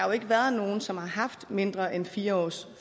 jo ikke været nogen som har haft mindre end fire års